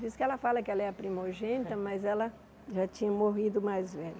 Diz que ela fala que ela é a primogênita, mas ela já tinha morrido o mais velho.